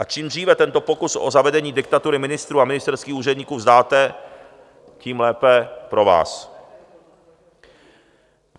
A čím dříve tento pokus o zavedení diktatury ministrů a ministerských úředníků vzdáte, tím lépe pro vás.